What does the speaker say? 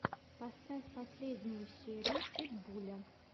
поставь последнюю серию питбуля